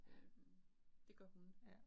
Øh det gør hun